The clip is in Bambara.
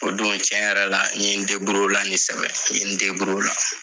O don tiɲɛ yɛrɛ la n ye o la nin sɛbɛn ye, n ye n o la.